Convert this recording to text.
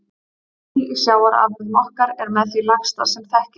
Blý í sjávarafurðum okkar er með því lægsta sem þekkist.